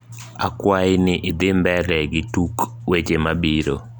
akwai ni idhi mbele gi tuk weche mabiro